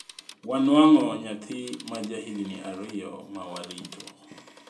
Wanuang'o nyath ma jahigni ariyo ma warito